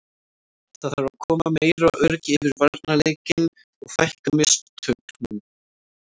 Það þarf að koma meira öryggi yfir varnarleikinn og fækka mistökunum.